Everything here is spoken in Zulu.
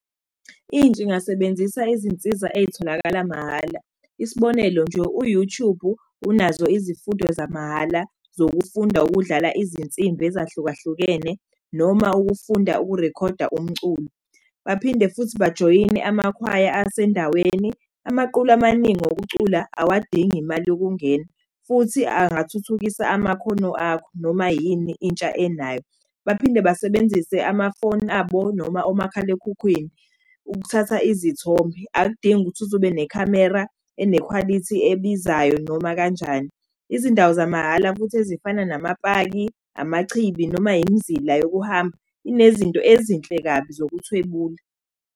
Intsha ingasebenzisa iy'nsiza ey'tholakala mahhala. Isibonelo nje, u-Youtube unazo izifundo zamahhala zokufunda ukudlala izinsimbi ezahlukahlukene noma ukufunda ukurikhoda umculo. Baphinde futhi bajoyine amakhwaya asendaweni amaqulu amaningi okucula awadingi imali yokungena. Futhi angathuthukisa amakhono akho noma yini intsha enayo. Baphinde basebenzise amafoni abo noma omakhalekhukhwini ukuthatha izithombe. Akudingi ukuthi uze ube nekhamera enekhwalithi ebizayo noma kanjani. Izindawo zamahhala ukuthi ezifana nama paki, amachibi noma imzila yokuhamba inezinto ezinhle kabi zokuthwebula.